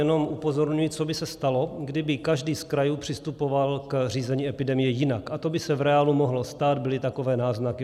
Jenom upozorňuji, co by se stalo, kdyby každý z krajů přistupoval k řízení epidemie jinak, a to by se v reálu mohlo stát, byly takové náznaky.